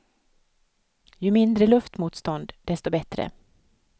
Ju mindre luftmotstånd, desto bättre.